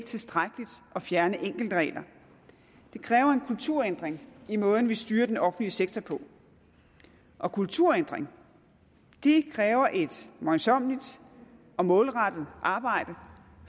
tilstrækkeligt at fjerne enkeltregler det kræver en kulturændring i måden vi styrer den offentlige sektor på og kulturændringer kræver et møjsommeligt og målrettet arbejde